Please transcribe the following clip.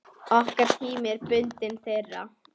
Okkar tími er bundinn þeirra.